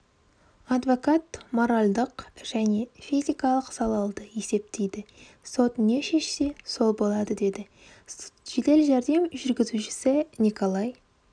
адвокат моралдық және физикалық залады есептейді сот не шешсе сол болады деді жедел жәрдем жүргізушісіниколай